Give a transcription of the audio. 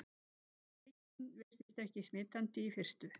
Veikin virtist ekki smitandi í fyrstu.